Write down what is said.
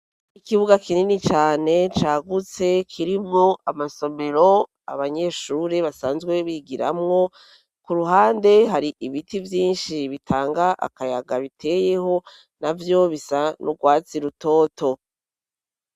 Ikibuga kinini cane cagutse kirimwo amasomero abanyeshure basanzwe bigiramwo ku ruhande hari ibiti vyinshi bitanga akayaga biteyeho navyo bisa n'urwatsi rutoto